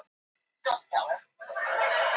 Ástralir búa sig undir frekari hamfarir